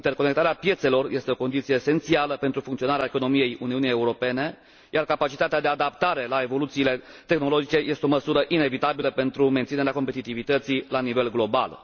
Interconectarea piețelor este o condiție esențială pentru funcționarea economiei Uniunii Europene, iar capacitatea de adaptare la evoluțiile tehnologice este o măsură inevitabilă pentru menținerea competitivității la nivel global.